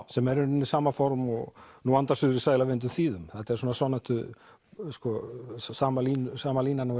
sem er í raun sama form og nú andar suðrið sæla vindum þýðum þetta er svona svona sama línan sama línan og